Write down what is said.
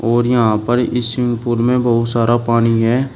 और यहां पर इस स्विमिंग पूल में बहुत सारा पानी है।